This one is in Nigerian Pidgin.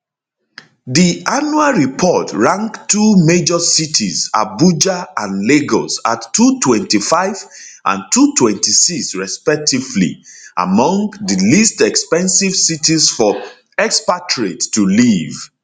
di annual report rank two major cities abuja and lagos at 225 and 226 respectively among di least expensive cities for expatriates to live